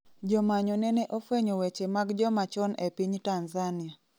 Jomanyo nene ofwenyo weche mag jomachon e piny Tanzania